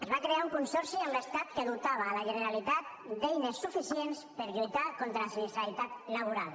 es va crear un consorci amb l’estat que dotava la generalitat d’eines suficients per lluitar contra la sinistralitat laboral